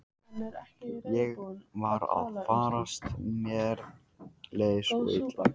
Ég var að farast, mér leið svo illa.